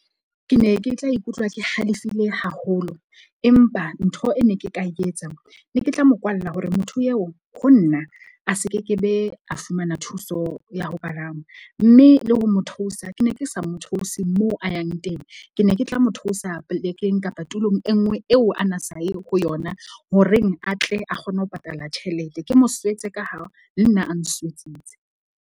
Ke ne ke tla ikutlwa ke halefile haholo. Empa ntho e ne ke ka e etsa ne ke tla mo kwalla hore motho eo ho nna a se kekebe a fumana thuso ya ho palama. Mme le ho mo thousa ke ne ke sa mo thouse mo a yang teng. Ke ne ke tla mo thusa polekeng kapa tulong e nngwe eo ana sa yeng ho yona ho reng, a tle a kgone ho patala tjhelete. Ke mo swetse ka ha le nna a nswetsitse.